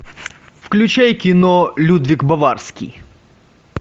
включай кино людвиг баварский